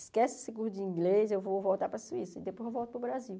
Esquece esse curso de inglês, eu vou voltar para a Suíça e depois eu volto para o Brasil.